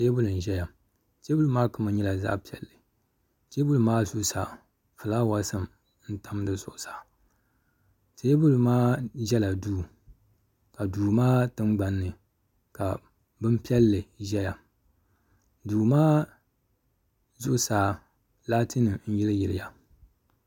Teebuli n ʒɛya teebuli maa kama nyɛla zaɣ piɛlli teebuli maa zuɣusaa fulaawaasi n tam di zuɣusaa teebuli maa ʒɛla duu ka duu maa tingbanni ka bini piɛlli ʒɛya duu maa zuɣusaa laati nim n yili yiliya